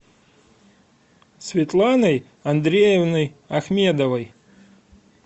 светланой андреевной ахмедовой